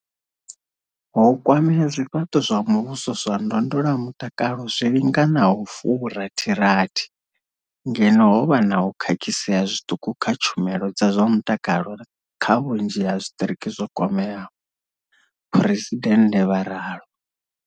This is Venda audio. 'Ho kwamea zwifhato zwa muvhuso zwa ndondolamutakalo zwi linganaho furathirathi, ngeno ho vha na u khakhisea zwiṱuku kha tshumelo dza zwa mutakalo kha vhunzhi ha zwiṱiriki zwo kwameaho, phresidennde vha ralo.